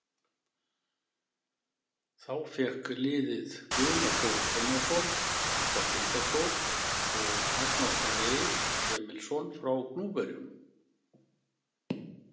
Þá fékk liðið Guðna Þór Einarsson frá Tindastóll og Magna Freyr Emilsson frá Gnúpverjum.